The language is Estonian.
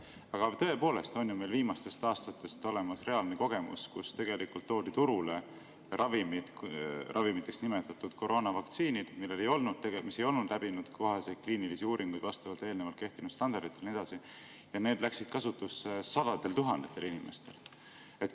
Aga tõepoolest on ju meil viimastest aastatest olemas reaalne kogemus, kui toodi turule ravimid või ravimiteks nimetatud koroonavaktsiinid, mis ei olnud läbinud kohaseid kliinilisi uuringuid vastavalt eelnevalt kehtinud standarditele ja nii edasi, ja need läksid kasutusse sadade tuhandete inimeste peal.